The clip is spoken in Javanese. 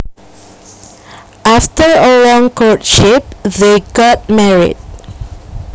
After a long courtship they got married